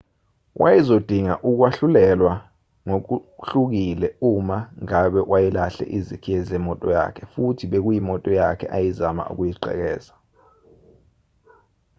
wayezodinga ukwahlulelwa ngokuhlukile uma ngabe wayelahle izikhiye zemoto yakhe futhi bekuyimoto yakhe ayezama ukuyigqekeza